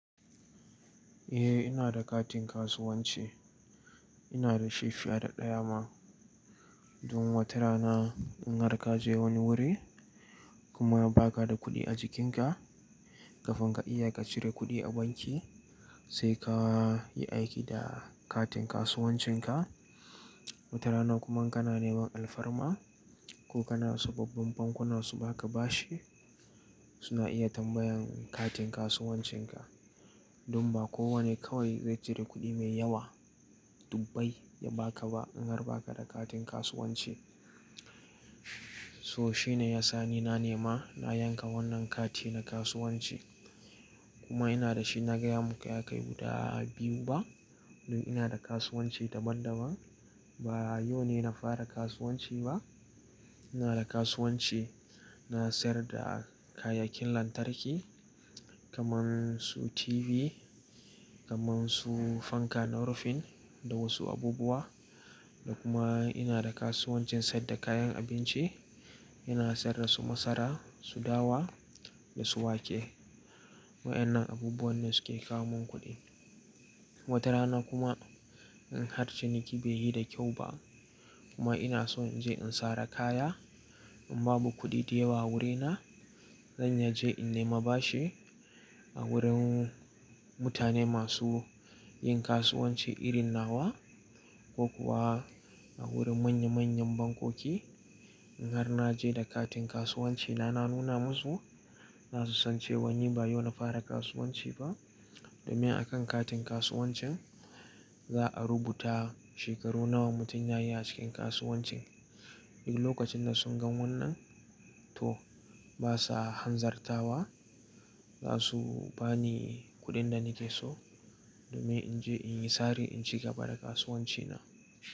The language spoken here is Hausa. Eh ina da katin kasuwanci. Ina da shi fiye da ɗaya ma. Don watarana in har ka je wani wuri kuma ba ka da kuɗi a jikinka, kafin ka iya ka cire kuɗi a banki sai ka yi aiki da katin kasuwancinka. Wata rana kuma in kana neman alfarma ko kana sababbin bankunan su ba ka bashi, suna iya tambayan katin kasuwancinka. Don ba kowane kawai zai cire kuɗi mai yawa dubbai ya ba ka ba in har ba ka da katin kasuwanci. So shine ya sa ni na nema na yanka wannan kati na kasuwanci kuma ina da shi na gaya muku ya kai guda biyu ba. Don ina da kasuwanci daban daban. Ba yau ne na fara kasuwanci ba. Ina da kasuwanci na sayar da kayyakin lantarki kaman su TV, kaman su fanka na rufin da wasu abubuwa. Da kuma ina da kasuwancin sayad da kayan abinci. Ina sayar da su masara, su dawa da su wake. Wa'yannan abubuwan ne suke kawo mun kuɗi. Watarana kuma in har ciniki bai yi da kyau ba kuma ina so in je in sare kaya in babu kuɗi da yawa wurina, zan iya je in nema bashi a wurin mutane masu yin kasuwanci irin nawa ko kuwa a wurin manya manyan bankoki. In har na je da katin kasuwancina na nuna musu, zasu san cewa ni ba yau na fara kasuwanci ba. Domin a kan katin kasuwancin za'a rubuta shekaru nawa mutum ya yi a cikin kasuwancin. Duk lokacin da sun gan wannan, to ba sa hanzartawa. Za su ba ni kuɗin da nake so domin in je in yi sari in cigaba da kasuwancina.